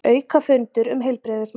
Aukafundur um heilbrigðismál